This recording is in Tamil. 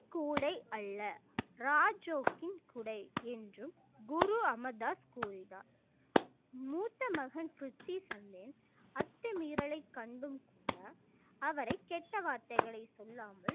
கூடை அல்ல ராஜோக்கின் குடை என்றும் குரு அமர்தாஸ் கூறினார் மூத்த மகன் அத்துமீறலை கண்டும் கூட அவரை கெட்ட வார்த்தைகளை சொல்லாமல்